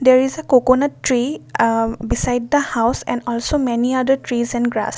there is a coconut tree uh beside the house and also many other trees and grass.